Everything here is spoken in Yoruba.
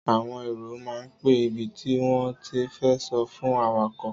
Àwòn èro ma ń pẹ ìbítì won tì fẹ sọ̀ fún àwàkọ́